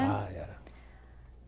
Ah, era.